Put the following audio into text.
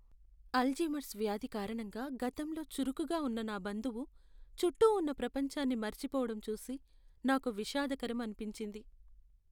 Alzheimer's వ్యాధి కారణంగా గతంలో చురుకుగా ఉన్న నా బంధువు చుట్టూ ఉన్న ప్రపంచాన్ని మరచిపోవడం చూసి నాకు విషాదకరం అనిపించింది.